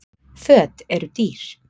Föt eru dýr.